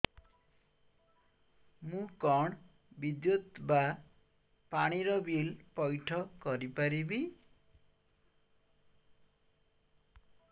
ମୁ କଣ ବିଦ୍ୟୁତ ବା ପାଣି ର ବିଲ ପଇଠ କରି ପାରିବି